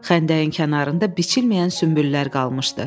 Xəndəyin kənarında biçilməyən sünbüllər qalmışdı.